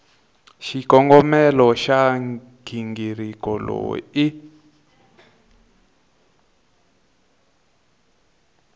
xikongomelo xa nghingiriko lowu i